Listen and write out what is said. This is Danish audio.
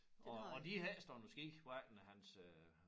Og og de havde ikke stået på ski hverken hans øh